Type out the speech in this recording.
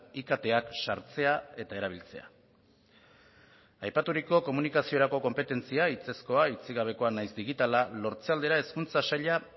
iktak sartzea eta erabiltzea aipaturiko komunikaziorako konpetentzia hitzezkoa hitzik gabekoa nahiz digitala lortze aldera hezkuntza saila